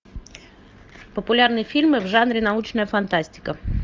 популярные фильмы в жанре научная фантастика